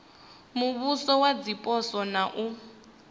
muvhuso wa zwipotso na u